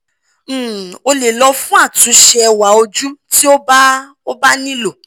um o le lọ fun atunṣe ẹwa oju ti o ba o ba nilo